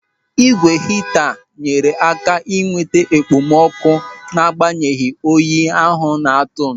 Ị́gwè hita nyere ha aka ịnweta okpomọkụ n'agbanyeghị oyi ahụ na-atụ.